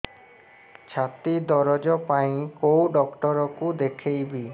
ଛାତି ଦରଜ ପାଇଁ କୋଉ ଡକ୍ଟର କୁ ଦେଖେଇବି